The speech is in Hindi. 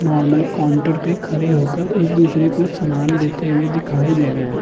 नार्मल काउंटर पे खड़े होकर एक-दूसरे को समान देते हुए दिखाई दे रहे हैं।